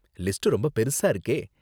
List ரொம்ப பெருசா இருக்கே!